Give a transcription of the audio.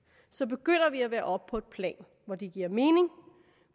så begynder vi at være oppe på et plan hvor det giver mening